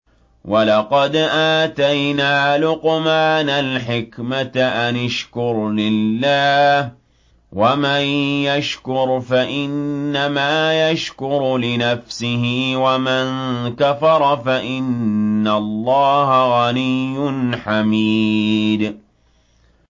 وَلَقَدْ آتَيْنَا لُقْمَانَ الْحِكْمَةَ أَنِ اشْكُرْ لِلَّهِ ۚ وَمَن يَشْكُرْ فَإِنَّمَا يَشْكُرُ لِنَفْسِهِ ۖ وَمَن كَفَرَ فَإِنَّ اللَّهَ غَنِيٌّ حَمِيدٌ